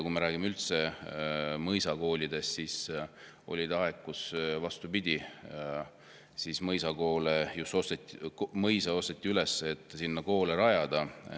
Kui me räägime üldse mõisakoolidest, siis oli aeg, kus, vastupidi, mõisu osteti üles, et neis koole.